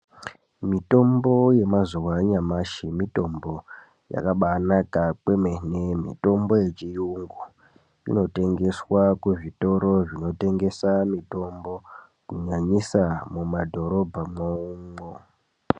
Mutombo ye mazuva anyamashi mitombo yakabi naka kwemene mitombo ye chiyungu ino tengeswa ku zvitoro zvino tengesa mitombo ku nyanyisa mu madhorobha mwo umo.